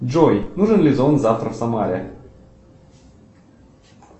джой нужен ли зонт завтра в самаре